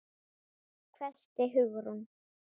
hvæsti Hugrún.